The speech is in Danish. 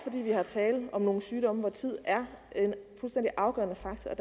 er tale om nogle sygdomme hvor tid er en fuldstændig afgørende faktor